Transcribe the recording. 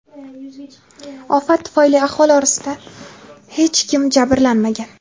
Ofat tufayli aholi orasidan hech kim jabrlanmagan.